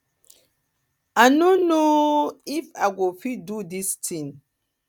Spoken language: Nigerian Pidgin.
i no know if i go fit do dis thing